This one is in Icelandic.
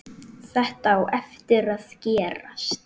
Þetta á eftir að gerast.